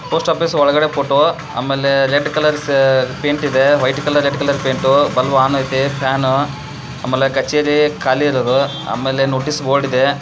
Post office ಒಳಗಡೆ photo ಆಮೇಲೆ red colour paint ಇದೆ. White colour red colour paint bulb on ಐತೆ fan ಮೇಲೆ ಕಚೇರಿ ಖಾಲಿ ಇರರು. ಆಮೇಲೆ ನೋಟೀಸ್ ಬೋರ್ಡ್ ಇದೆ.